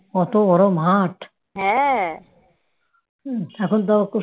কত বড় মাঠ? এখন তাও